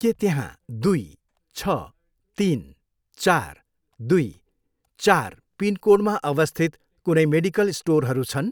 के त्यहाँ दुई, छ, तिन, चार, दुई, चार पिनकोडमा अवस्थित कुनै मेडिकल स्टोरहरू छन्?